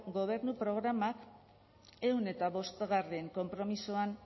gobernu programak ehun eta bostgarrena konpromisoan